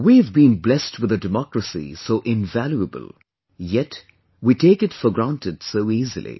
We have been blessed with a Democracy so invaluable, yet we take it for granted so easily